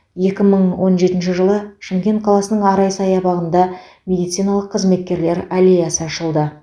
екі мың он жетінші жылы шымкент қаласының арай саябағында медициналық қызметкерлер аллеясы ашылды